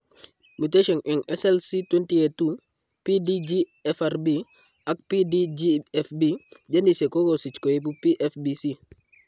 Mutations eng SLC20A2,PDGFRB, ak PDGFB genesiek kokokesich koibu PFBC